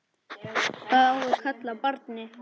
Hvað á að kalla barnið?